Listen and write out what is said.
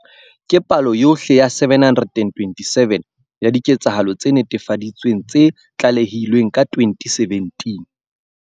Ke palo yohle ya 727 ya diketsahalo tse netefaditsweng tse tlalehilweng ka 2017.